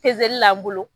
Pezeli la n bolo